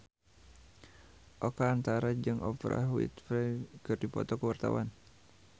Oka Antara jeung Oprah Winfrey keur dipoto ku wartawan